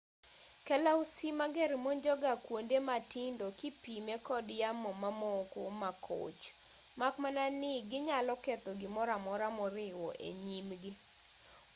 kalausi mager monjo ga kuonde matindo kipime kod yamo mamoko ma koch mak mana ni ginyalo ketho gimoro amora moriwo e nyimgi